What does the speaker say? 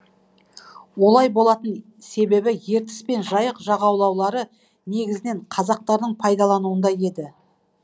олай болатын себебі ертіс пен жайық жағалаулары негізінен казактардың пайдалануында еді